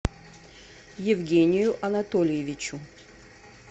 евгению анатольевичу